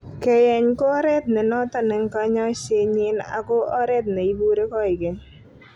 Keyeny ko oret ne noton en konyoisenyin ako oret ne Ipure koigeny.